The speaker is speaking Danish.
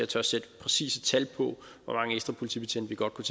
tør sætte præcise tal på hvor mange ekstra politibetjente vi godt kunne